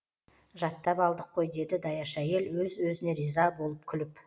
жаттап алдық қой деді даяшы әйел өз өзіне риза болып күліп